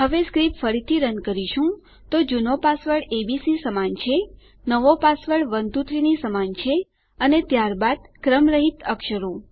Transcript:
હવે સ્ક્રીપ્ટ ફરીથી રન કરીશું તો જુનો પાસવર્ડ એબીસી સમાન છે નવો પાસવર્ડ 123 ની સમાન છે અને ત્યારબાદ ક્રમ રહીત અક્ષરો